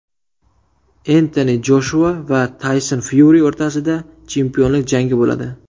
Entoni Joshua va Tayson Fyuri o‘rtasida chempionlik jangi bo‘ladi.